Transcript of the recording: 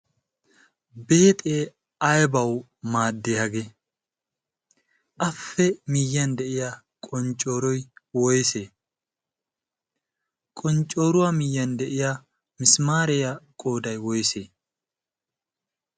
beexee aybawu maaddii hagee? appe miyyiyaan de'iyaa qonccoroy woysee? qonccoruwaa miyyiyaan de'iyaa misimaariyaa qooday woysee?